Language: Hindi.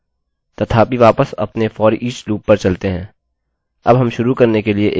तथापि वापस अपने foreach लूपloop पर चलते हैं अब हम शुरू करने के लिए एक अरैarray बनाएँगे